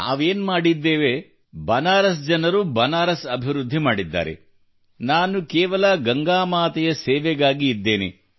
ನಾವೇನು ಮಾಡಿದ್ದೇವೆ ಬನಾರಸ್ ಜನರು ಬನಾರಸ್ ಅಭಿವೃದ್ಧಿ ಮಾಡಿದ್ದಾರೆ | ನಾನು ಕೇವಲ ಗಂಗಾಮಾತೆಯ ಸೇವೆಗಾಗಿ ಇದ್ದೇನೆ